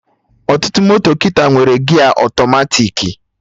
Ọtụtụ moto kịta nwere gia ọtọmatiki